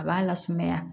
A b'a lasumaya